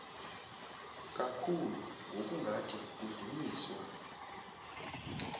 kakhulu ngokungathi kudunyiswa